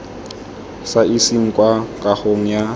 sa iseng kwa kagong ya